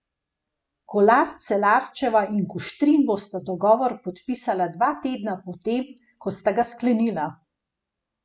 Kolar Celarčeva in Kuštrin bosta dogovor podpisala dva tedna po tem, ko sta ga sklenila.